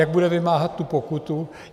Jak bude vymáhat tu pokutu?